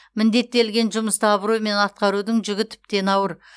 міндеттелген жұмысты абыроймен атқарудың жүгі тіптен ауыр